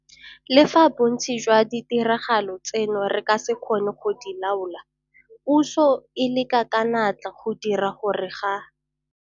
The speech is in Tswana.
Le fa bontsi jwa ditiragalo tseno re ka se kgone go di laola, puso e leka ka natla go dira gore ga